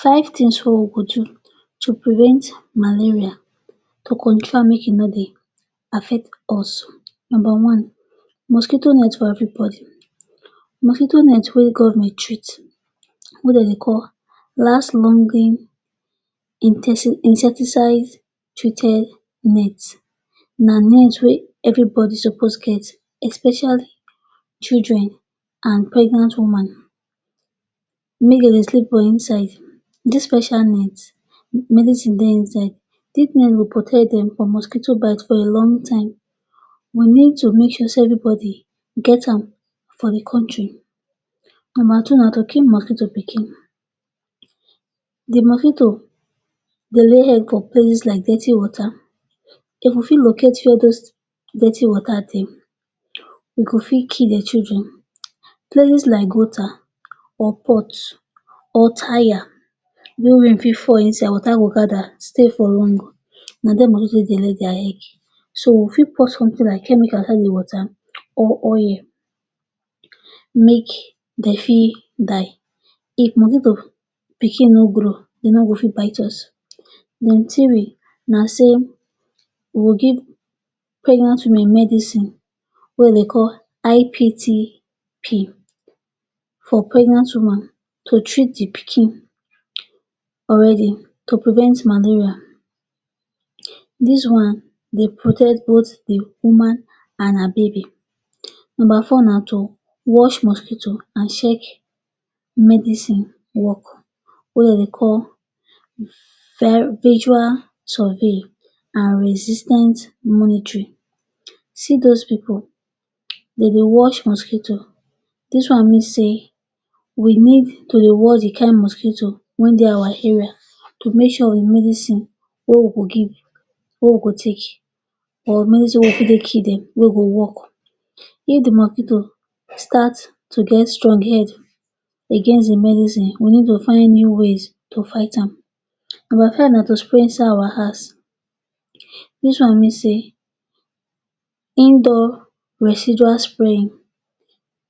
Five tins wey we go do to prevent malaria to control am make e no dey affect us Numba one, mosquito net for everybody. Mosquito net wey government treat, wey dey de call last longing insecticide treated net, na net wey everybody suppose get, especially children and pregnant woman. Make de dey sleep for inside dis special net. Medicine dey inside dis net go protect dem from mosquito bite for a long time. We need to make sure say everybody e get am for di kontri. Numba two na to kill mosquito pikin. Di mosquito dey lay eggs for places like dirty water. If we fit locate wia dis dirty water dey, team we go fit kill di children. Places like like gutter or pots or tyre, wey rain fit fall inside, water de gada stay for long. Na dia mosquito take dey lay dia eggs. Money take dey lagos dia head so we fit pour somtin like chemical inside di water or oil make dem fit die. If mosquito pikin no grow, e no go fit bite us. Numba three na say we go give pregnant women medicine wey e dey call IPT-P for pregnant woman to treat di pikin already to prevent malaria. Dis one dey protect both di woman and her baby. Numba four na to wash mosquito and check medicine wok wey dem dey call visual survey resistant monitory. See those pipu, dem dey watch mosquito. Dis one mean say we need to dey watch di kind mosquito when dey our area to make sure di medicine wey we go give, wey we go take, or or medicine wey fit kill dem, wey go wok. If di mosquito start to get strong head against di medicine, we need to find new ways to fight am. Numba five na to spray inside our house. Dis one mean say indoor residual spraying.